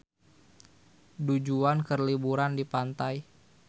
Du Juan keur liburan di pantai